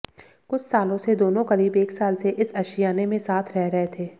कुछ सालों से दोनों करीब एक साल से इस अशियाने में साथ रह रहे थे